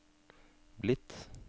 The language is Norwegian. blitt